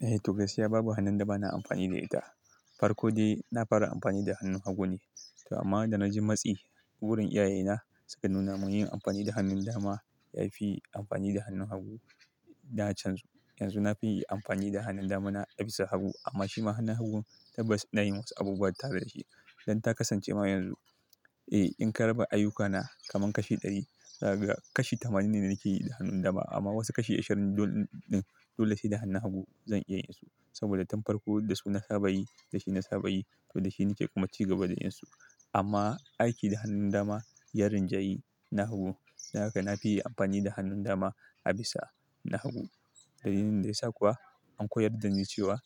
Eh, to gaskiya babu hannunda bana amfani da ita. Farko dai na fara amfani da hannun hagu ne. To amma da na ji matsi wurin iyayena suka nuna mun yin amfani da hannun dama yafi yin amfani da hannun hagu. Na canzu. Yanzu nafi yin amfani da hannun dama na a bisa hagu amma shima hannun hagun tabbas inayi wasu abubuwa tare da shi. Don takasance ma yanzu, eh in karaba ayyukana kaman kashi ɗari, kashi tamanin ne da nake yi da hannun dama amma wasu kashi ashirin don-- din dole sai da hannu hagu zan iya yin su. Saboda tun farko da su na saba yi, da shi na saba yi, to da shi nake kuma ci gaba da yin su. Amma aiki da hannun dama, ya rinjayi na hagu. Don haka na fi yin amfani da hannun dama a bisa na hagu. Dalilin da yasa kuwa an koyarda ni cewa,